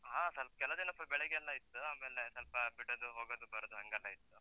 ಹ, ಸ್ವಲ್ಪ್ ಕೆಲದಿನ ಸ್ವಲ್ಪ ಬೆಳಗ್ಗೆಲ್ಲ ಇತ್ತು, ಆಮೇಲೆ ಸ್ವಲ್ಪ ಬಿಡದು, ಹೋಗುದು, ಬರುದು ಹಂಗೆಲ್ಲ ಇತ್ತು.